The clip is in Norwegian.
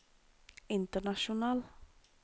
international